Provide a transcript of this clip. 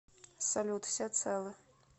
салют все целы